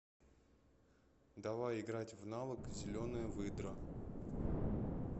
давай играть в навык зеленая выдра